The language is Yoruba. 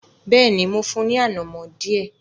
Bẹ́ẹ̀ni, mo fún un ní “ànàmọ́” díẹ̀.